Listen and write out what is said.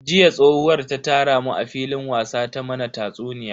Jiya yar tsohuwar ta tara mu a filin wasa ta mana tatsuniya.